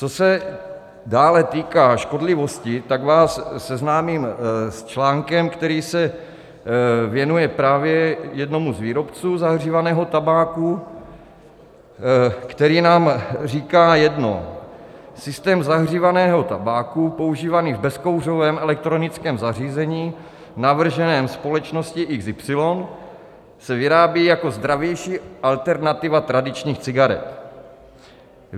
Co se dále týká škodlivosti, tak vás seznámím s článkem, který se věnuje právě jednomu z výrobců zahřívaného tabáku, který nám říká jedno: Systém zahřívaného tabáku používaný v bezkouřovém elektronickém zařízením navrženém společností XY se vyrábí jako zdravější alternativa tradičních cigaret.